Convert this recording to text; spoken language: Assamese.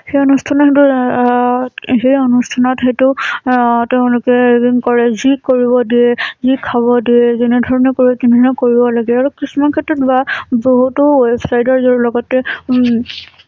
সেই অনুষ্ঠানত হৈতো, আহ সেই অনুষ্ঠানত হৈতো, আহ তেওঁলোকে এদিন কলে, যি কৰিব দিয়ে, যি খাব দিয়ে, যেনেধৰণে কৰিব লাগে, আৰু কিছুমান ক্ষেত্ৰত বা, বহুতো website ৰ লগতে উম